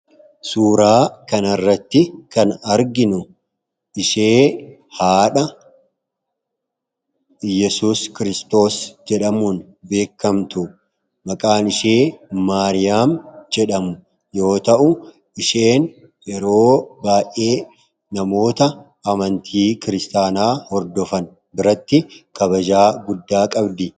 Suuraa kana irratti kan arginu ishee haadha Iyesuus Kiristoos jedhamuun beekamtudha. Maqaan ishee Maariyaam jedhamu yoo ta'u, isheen yeroo baay'ee namoota amantii Kiristiyaanaa hordofan biratti kabajaa guddaa qabdi.